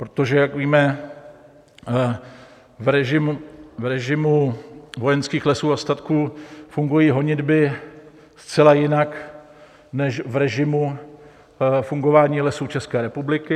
Protože jak víme, v režimu Vojenských lesů a statků fungují honitby zcela jinak než v režimu fungování Lesů České republiky.